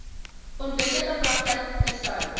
onwettige praktyke sou